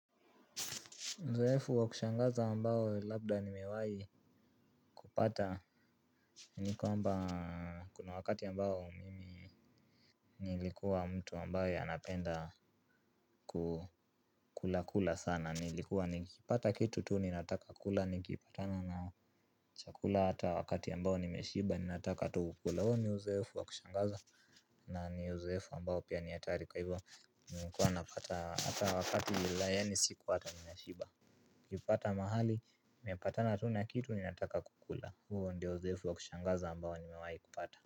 Uzoefu wa kushangaza ambao labda ni mewai kupata nikuwa mba kuna wakati ambao mimi nilikuwa mtu ambaye anapenda kukula kula sana nilikuwa nikipata kitu tuu ninataka kula nikipatana na chakula hata wakati ambao nimeshiba ninataka tubu kula honi uzeefu wa kushangaza. Na ni uzoefu ambao pia niatari kwa hivyo nikuwa napata hata wakati yila ya ni siku hata nimeshiba. Kipata mahali nimepatana tuna kitu ni nataka kukula huo ndio uzoefu wa kushangaza ambao ni mewai kupata.